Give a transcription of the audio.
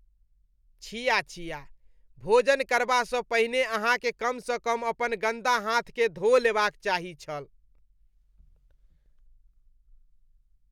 छिया छिया! भोजन करबासँ पहिने अहाँकेँ कमसँ कम अपन गन्दा हाथकेँ धो लेबाक चाही छल।